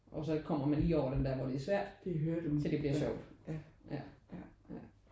Og så kommer man lige over den hvor det er svært til det bliver sjovt. Ja ja